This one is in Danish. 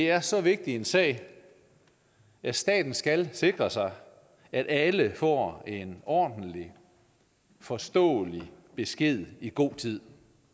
er så vigtig en sag at staten skal sikre sig at alle får en ordentlig og forståelig besked i god tid